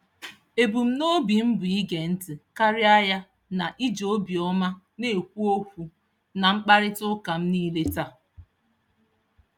Ebumnobi m bụ ige ntị karịa ya na iji obiọma na-ekwu okwu na mkparịtaụka m niile taa.